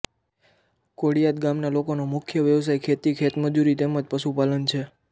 કોળીયાદ ગામના લોકોનો મુખ્ય વ્યવસાય ખેતી ખેતમજૂરી તેમ જ પશુપાલન છે